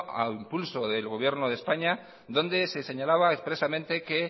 a impulso del gobierno de españa donde se señalaba expresamente